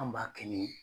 An b'a kɛ ni